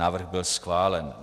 Návrh byl schválen.